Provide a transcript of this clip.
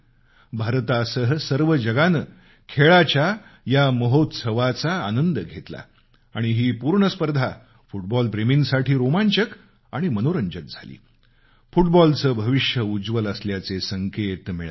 भारतासह सर्व जगानं खेळाचा हा महोत्सव एन्जॉय केला आणि ही पूर्ण स्पर्धा फुटबॉल प्रेमींसाठी रोमांचक आणि मनोरंजक झाली फुटबॉलचं भविष्य उज्वल असल्याचे संकेत मिळत आहेत